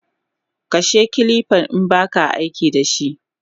Kashe kilifa inbaka aikidashi!